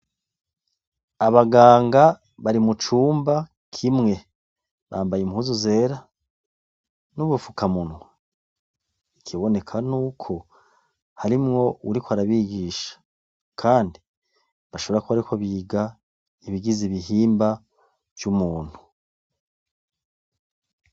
Abaganga bari mucumba kimwe. Bambaye impuzu zera nubu fukamunwa ikiboneka nuko harimwo uwuriko arabigisha, kandi bashobora kuba bariko biga ibigize ibihimba vy'umuntu.